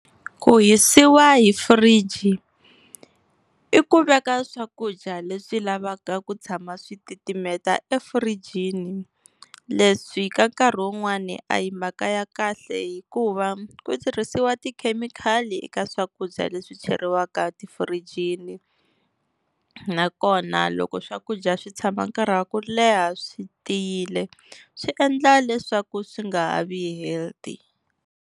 Ku hisiwa hi fridge i ku veka swakudya leswi lavaka ku tshama switimela efurijini, leswi ka nkarhi wun'wani a hi mhaka ya kahle, hikuva ku tirhisiwa tikhemikhali eka swakudya leswi cheriwaka tifirijini. Nakona loko swakudya swi tshama nkarhi wa ku leha swi tiyile swi endla leswaku swi nga ha vi healthy.